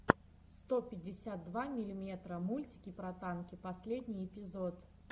сто пятьдесят два миллиметра мультики про танки последний эпизод